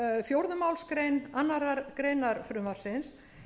fjórðu málsgrein annarrar greinar frumvarpsins